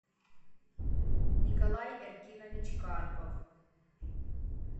николай эркинович карпов